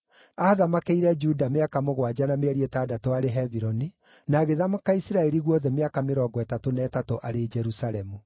Aathamakĩire Juda mĩaka mũgwanja na mĩeri ĩtandatũ arĩ Hebironi, na agĩthamaka Isiraeli guothe mĩaka mĩrongo ĩtatũ na ĩtatũ arĩ Jerusalemu.